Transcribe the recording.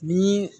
Ni